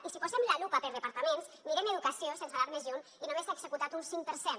i si posem la lupa per departaments mirem educació sense anar més lluny i només s’ha executat un cinc per cent